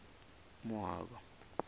moaba